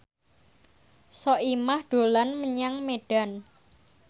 Soimah dolan menyang Medan